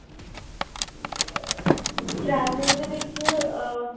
traveling ਦੇ ਵਿੱਚ ਆ